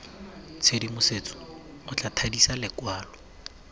tshedimosetso o tla thadisa lokwalo